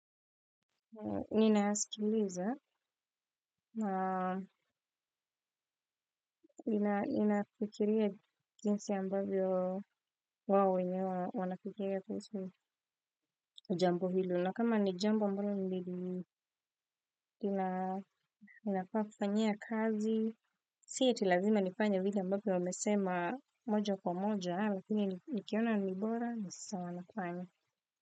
Ni naaskiliza na ninafikiria jinsi ambavyo wao wenyewe wanafikiria kuhusu jambo hilo. Na kama ni jambo ambalo lili, ninafaa kufanyia kazi. Sio eti ni lazima nifanye vile ambavyo wamesema moja kwa moja mini nikiona nilibora, nisawa nafanya.